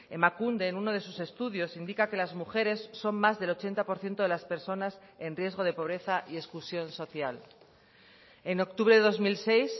emakunde en uno de sus estudios indica que las mujeres son más del ochenta por ciento de las personas en riesgo de pobreza y exclusión social en octubre de dos mil seis